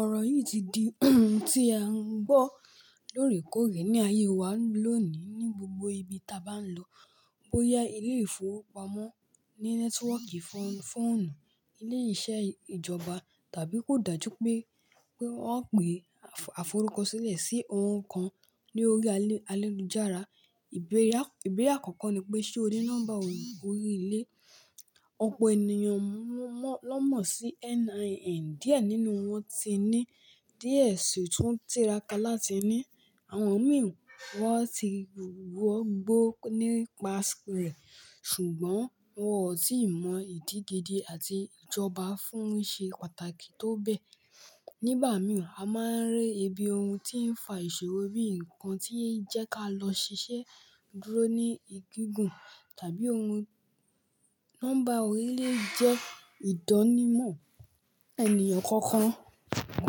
Ọ̀rọ̀ yìí ti di ohun tí a ń gbọ́ lóòrèkóòrè ní ayé wa lónìí ní gbogbo ibi ta bá lọ, bóyá ilé-ìfowópamọ́, ní nẹ́tíwọ́kì fóònù, ilé-iṣẹ́ ìjọba, tàbí kò dájú pé wọ́n pe, àforúkọsílẹ̀ sí ohun kan lórí ayelujára. Ìbéèrè àkọ́kọ́ ni pé ṣé o ní nọ́mbà orí ilé? Ọ̀pọ̀ ènìyàn ló mọ̀ sí NIN, díẹ̀ nínú wọn ti ní díẹ̀ sì tún tìrákà láti ní. Àwọn mìíràn wọ́n ti wọgbó nípa rẹ̀ ṣùgbọ́n wọn ò tí ì mọ ìdí gidi àti ìjọba fún ṣe pàtàkì tó bẹ. Nígbà mìíràn, a máa ń rí ibi ohun tí ń fa ìṣòro bíi nǹkan tí ń jẹ́ ká lọ ṣiṣẹ́ dúró ní ìgígùn tàbí ohun. Nọ́mbà orílẹ̀ jẹ́ ìdánimọ̀ ènìyàn kankan,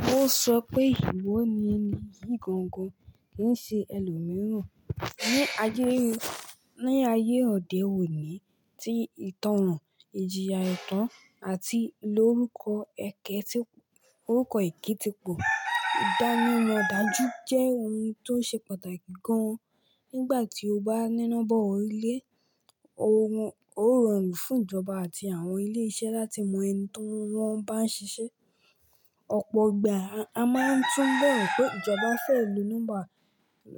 kó sọ pé ìwọ ni eyii ìgangan kì í ṣe ẹlòmíràn. Ni ayé òde òní tí ìtànràn, ìjìyà ẹ̀tàn àti lórúkọ èké ti pọ̀, ìdánimọ̀ dájú jẹ́ ohun tó ṣe pàtàkì gan-an. Nígbà tí o bá níná bọ̀ orílẹ̀, ó rọrùn fún ìjọba àti àwọn ilé iṣẹ́ láti mọ ẹni tí wọ́n bá ń ṣiṣẹ́. Ọ̀pọ̀ ìgbà, a máa ń túbọ̀ pé ìjọba fẹ́ lo nọ́mbà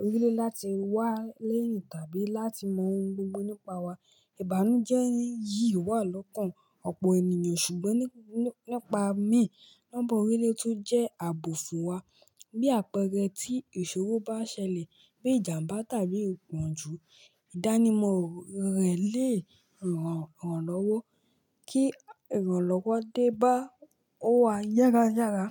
orílẹ̀ láti wá lénìí tàbí láti mọ ohun gbogbo nípa wa. Ìbànújẹ́ yìí wà lọ́kàn ọ̀pọ̀ ènìyàn ṣùgbọ́n nípa mi, nọ́mbà orílẹ̀ tó jẹ́ ààbò fún wa. Bí àpẹẹrẹ tí ìṣòro bá ṣẹlẹ̀ bí ìjàmbá tàbí ìpọ́njú, ìdánimọ̀ rẹ̀ lè ràn lọ́wọ́ kí ìrànlọ́wọ́ dé bá o wá yára yára.